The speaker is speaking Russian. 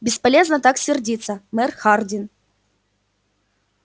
бесполезно так сердиться мэр хардин